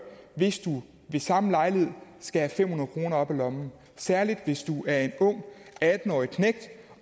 hvis du ved samme lejlighed skal have fem hundrede kroner op af lommen særlig hvis du er en atten årig knægt